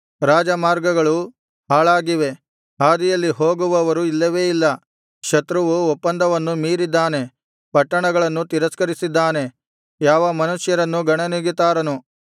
ರಾಜಮಾರ್ಗಗಳು ಹಾಳಾಗಿವೆ ಹಾದಿಯಲ್ಲಿ ಹೋಗುವವರು ಇಲ್ಲವೇ ಇಲ್ಲ ಶತ್ರುವು ಒಪ್ಪಂದವನ್ನು ಮೀರಿದ್ದಾನೆ ಪಟ್ಟಣಗಳನ್ನು ತಿರಸ್ಕರಿಸಿದ್ದಾನೆ ಯಾವ ಮನುಷ್ಯರನ್ನೂ ಗಣನೆಗೆ ತಾರನು